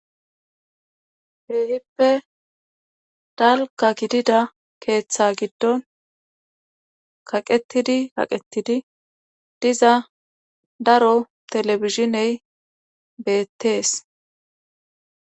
Keehippe dalgga gidida keetha giddon qaqettidid kaqettidi diza daro televizhiney beettees.